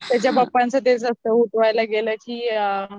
त्याच्या पप्पांच तेच असत त्यांना उठवायला गेला की